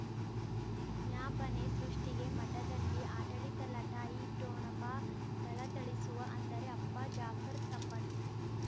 ವಿಜ್ಞಾಪನೆ ಸೃಷ್ಟಿಗೆ ಮಠದಲ್ಲಿ ಆಡಳಿತ ಲಟಾಯಿ ಠೊಣಪ ಥಳಥಳಿಸುವ ಅಂದರೆ ಅಪ್ಪ ಜಾಫರ್ ಸಂಬಂಧಿ